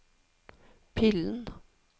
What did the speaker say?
pillen